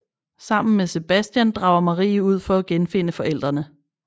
Sammen med Sebastian drager Marie ud for at genfinde forældrene